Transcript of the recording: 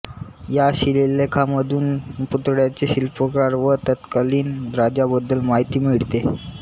या शिलालेखामधून पुतळ्याचे शिल्पकार व तत्कालीन राजाबद्दल माहिती मिळते